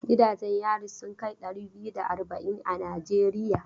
Gidanjen yari sun kai ɗari biyu da arba'in a Najeriya.